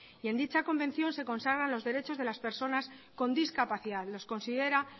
en dicha convención se consagra los derechos de las personas con discapacidad los considera